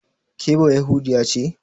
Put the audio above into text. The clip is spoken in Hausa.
Ke bayahudiya ce?